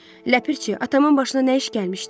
Ləpirçi, atamın başına nə iş gəlmişdi?